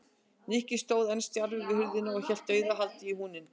Nikki stóð enn stjarfur við hurðina og hélt dauðahaldi í húninn.